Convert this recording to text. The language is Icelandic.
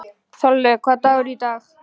Þorlaug, hvaða dagur er í dag?